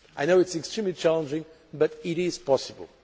I know it is extremely challenging but it is possible.